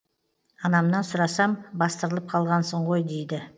анамнан сұрасам бастырылып қалғансың ғой дейді